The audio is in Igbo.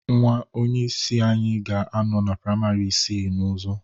Nwa onyeisi anyị ga-anọ na praịmarị isii ọzọ